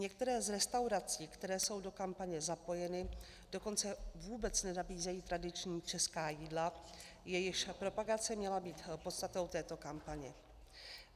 Některé z restaurací, které jsou do kampaně zapojeny, dokonce vůbec nenabízejí tradiční česká jídla, jejichž propagace měla být podstatou této kampaně.